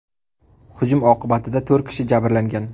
Hujum oqibatida to‘rt kishi jabrlangan.